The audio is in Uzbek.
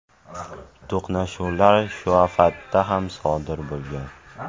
To‘qnashuvlar Shuafatda ham sodir bo‘lgan.